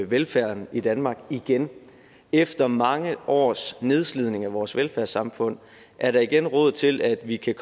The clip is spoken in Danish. velfærd i danmark igen efter mange års nedslidning af vores velfærdssamfund er der igen råd til at vi kan